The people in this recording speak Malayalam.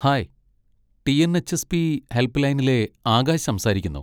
ഹായ്! ടി.എൻ.എച്.എസ്.പി. ഹെൽപ് ലൈനിലെ ആകാശ് സംസാരിക്കുന്നു.